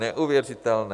Neuvěřitelné!